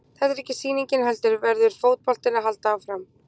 Þetta er ekki sýningin heldur verður fótboltinn að halda áfram.